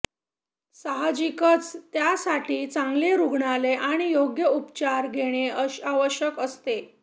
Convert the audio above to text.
साहजिकच त्यासाठी चांगले रुग्णालय आणि योग्य उपचार घेणे आवश्यक असते